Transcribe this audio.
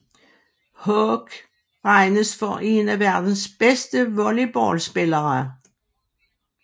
Haak regnes for en af verdens bedste volleyballspillere